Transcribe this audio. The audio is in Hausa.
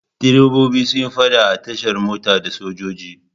Direbobi sun yi faɗa a tashar mota da sojoji.